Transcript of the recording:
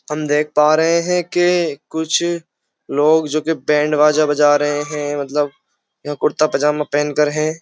हम देख पा रहे हैं के कुछ लोग जोके बैंड बाजा बजा रहे हैं मतलब कुर्ता पजामा पहन कर हैं।